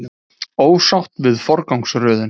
Ósátt við forgangsröðun